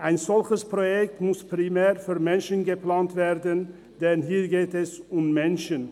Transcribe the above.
Ein solches Projekt muss primär für Menschen geplant werden, denn hier geht es um Menschen.